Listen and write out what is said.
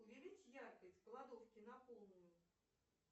увеличь яркость в кладовке на полную